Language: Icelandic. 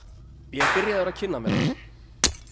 Ég er byrjaður að kynna mér þá.